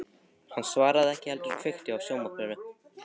Hann svaraði ekki heldur kveikti á sjónvarpinu.